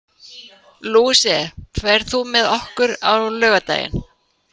Louise, ferð þú með okkur á laugardaginn?